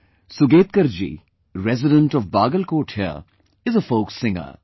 Sugatkar ji, resident of Bagalkot here, is a folk singer